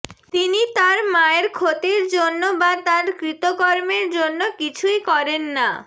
তিনি তার মায়ের ক্ষতির জন্য বা তার কৃতকর্মের জন্য কিছুই করেন না